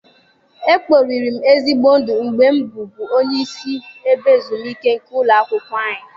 E kporiri m ezigbo ndụ mgbe m bụbu onye isi ebe ezumike nke ụlọ akwụkwọ anyị.